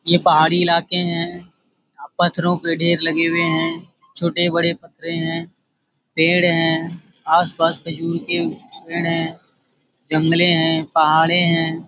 ये पहाड़ी इलाके है पत्थरों के ढेर लगे हुए है छोटे-बड़े पत्थरए है पेड़ है आसपास खजूर के पेड़ है जंगले है पहाड़े है।